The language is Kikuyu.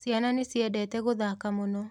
Ciana nĩciendete gũthaka mũno.